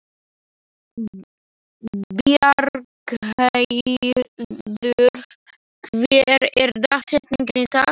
Bjargheiður, hver er dagsetningin í dag?